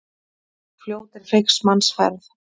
Fljót er feigs manns ferð.